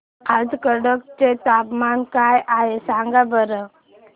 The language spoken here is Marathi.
आज कटक चे तापमान काय आहे सांगा बरं